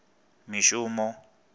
mishumo